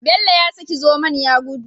Bello ya saki zomon ya gudu